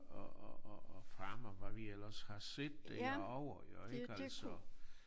Og og og og Fram og hvad vi ellers har set derovre jo ik altså